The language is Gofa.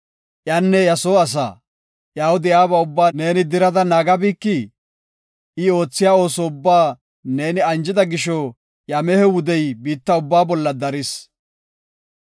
Iyanne iya soo asaa, iyaw de7iyaba ubbaa neeni dirada naagabikii? I oothiya ooso ubbaa neeni anjida gisho iya mehe wudey biitta ubbaa bolla daris.